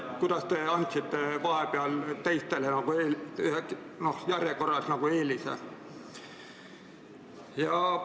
Kuidas te saite vahepeal anda kellelegi teisele järjekorras eelise?